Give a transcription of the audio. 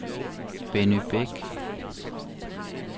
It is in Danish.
Benny Beck